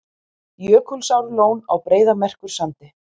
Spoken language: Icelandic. Jökulsárlón á Breiðamerkursandi.